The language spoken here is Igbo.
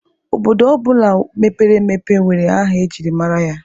Obodo ọ bụla mepere emepe nwere aha e jiri mara ya.